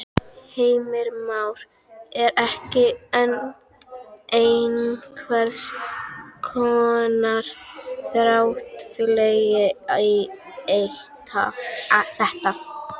Heimir Már: Er komið einhvers konar þrátefli í þetta?